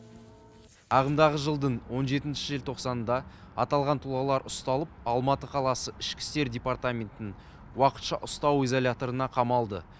ағымдағы жылдың он жетінші желтоқсанында аталған тұлғалар ұсталып алматы қаласы ішкі істер департаментінің уақытша ұстау изоляторына қамалды